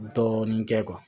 Dɔɔnin kɛ